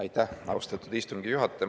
Aitäh, austatud istungi juhataja!